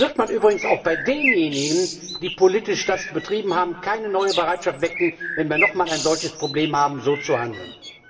Sonst wird man übrigens auch bei denjenigen, die das politisch betrieben haben, keine neue Bereitschaft wecken, wenn wir nochmal ein solches Problem haben, wieder so zu handeln.